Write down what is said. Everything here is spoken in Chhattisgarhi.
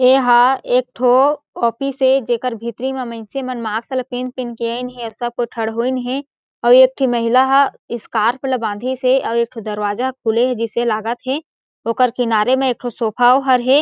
ये हा एक ठो ऑफिस ए जेकर भीतरी म मइनसे मन मास्क ल पहिन-पहिन के अइन हें अउ सब का ठरहोइन हें अउ एक ठी महिला ह स्कार्फ़ ल बांधीस हें आऊ एक ठो दरवाजा ह खुले हें जइसे लागत हें ओकर किनारे म एक ठो सोफा ओ हर हे।